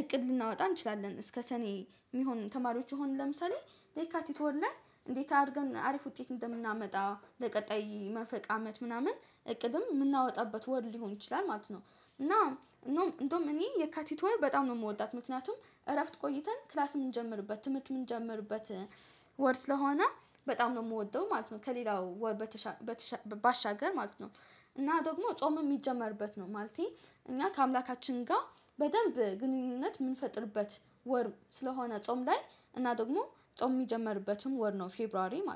እቅድ ልናወጣ እንችላለን እስከ ሰኔ የሚሆን ተማሪዎች የሆንን ለምሳሌ ለካቲት ወር ላይ እንዴት አድርገን አሪፍ ውጤት እንደምናመጣ ለቀጣይ መንፈቅ አመት ምናምን እቅድም የምናወጣበት ወር ሊሆን ይችላል ማለት ነው። እና እንደውም እኔ የካቲት ወር በጣም ነው የምወዳት ምክንያቱም እረፍት ቆይተን ክላስ የምንጀምርበት ትምህርት የምንጀምርበት ወር ስለሆነ። በጣም ነው የምወደው ማለት ነው ከሌላው ወር በተሻ ባሻገር ማለት ነው። እና ደግሞ ጾም የሚጀመርበት ነው ማለቴ። እና ከአምላካችን ጋር በደንብ ግንኙነት የምንፈጥርበት ወር ስለሆነ ጾም ላይ እና ደግሞ ጾም የሚጀምርበትም ወር ነው ፌብሯሪ ማለት